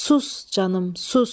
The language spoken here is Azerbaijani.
Sus canım, sus!